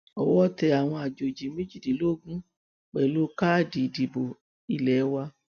owó tẹ àwọn àjòjì méjìdínlógún pẹlú káàdì ìdìbò ilé wa